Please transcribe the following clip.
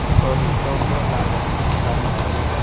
तो रिश्तों में लालच हम काहे सहे